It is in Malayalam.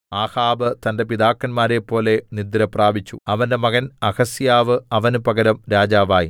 ആഹാബ് തന്റെ പിതാക്കന്മാരെപ്പോലെ നിദ്രപ്രാപിച്ചു അവന്റെ മകൻ അഹസ്യാവ് അവന് പകരം രാജാവായി